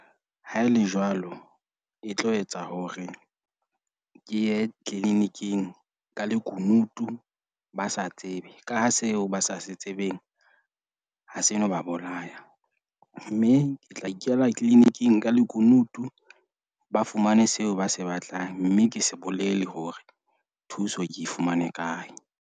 Haele jwalo, e tlo etsa hore ke ye clinic-ing ka lekunutu. Ba sa tsebe, ka ha seo ba sa se tsebeng ha se no ba bolaya. Mme ke tla ikela clinic-ng ka lekunutu. Ba fumane seo ba se batlang, mme ke se bolele hore thuso ke e fumane kae.